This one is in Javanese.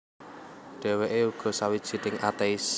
Dhèwèké uga sawijining atéis